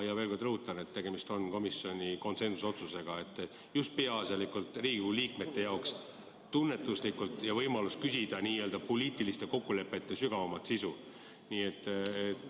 Ma veel kord rõhutan, et tegemist on komisjoni konsensusliku otsusega just peaasjalikult Riigikogu liikmete jaoks, võimalus küsida n‑ö poliitiliste kokkulepete sügavama sisu kohta.